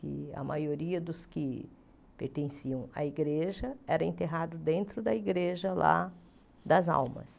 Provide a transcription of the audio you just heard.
Que a maioria dos que pertenciam à igreja era enterrado dentro da igreja lá das almas.